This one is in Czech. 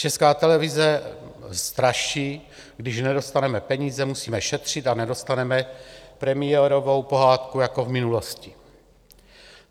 Česká televize straší: Když nedostaneme peníze, musíme šetřit a nedostaneme premiérovou pohádku jako v minulosti.